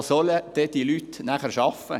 Wo sollen diese Leute nachher arbeiten?